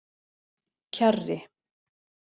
Kjarri